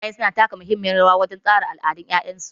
Iyaye su na taka muhimmiyar rawa wajen tsara al'adun 'ya'yansu.